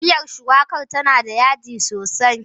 Miyar shuwakar tana da yaji sosai.